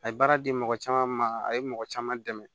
A ye baara di mɔgɔ caman ma a ye mɔgɔ caman dɛmɛ